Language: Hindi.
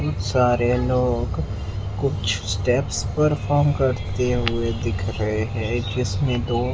सारे लोग कुछ स्टेप्स परफॉर्म करते हुए दिख रहे हैं जिसमें दो--